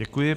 Děkuji.